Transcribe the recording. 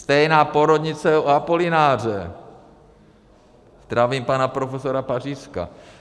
Stejná porodnice u Apolináře, zdravím pana profesora Pařízka.